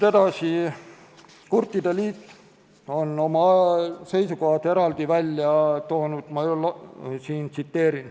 Kurtide liit on oma seisukohad eraldi välja toonud.